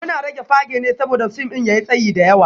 Muna rage fage ne saboda fim ɗin ya yi tsayi da yawa